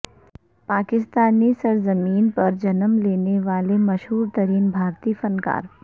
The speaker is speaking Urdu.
پاکستانی سرزمین پر جنم لینے والے مشہور ترین بھارتی فنکار